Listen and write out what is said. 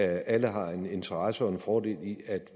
alle har en interesse og en fordel i at